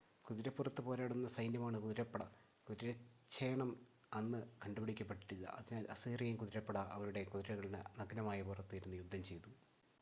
കുതിരപ്പുറത്ത് പോരാടുന്ന സൈന്യമാണ് കുതിരപ്പട കുതിരച്ചേണം അന്ന് കണ്ടുപിടിക്കപ്പെട്ടിട്ടില്ല അതിനാൽ അസീറിയൻ കുതിരപ്പട അവരുടെ കുതിരകളുടെ നഗ്നമായ പുറത്ത് ഇരുന്ന് യുദ്ധം ചെയ്തു